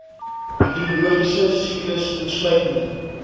hidrologiese siklus insluitende